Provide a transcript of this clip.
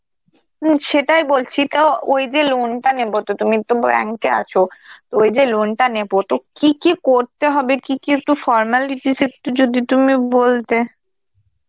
হম সেটাই বলছি তাও ওই যে loan টা নেব, তো তুমি তোমার bank এ আছো, তো ওই যে loan টা নেব তো কি কি করতে হবে, কি কি একটু formalities একটু যদি তুমি বলতে.